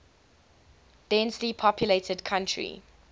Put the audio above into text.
densely populated country